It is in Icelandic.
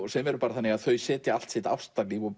sem er þannig að þau setja allt sitt ástarlíf og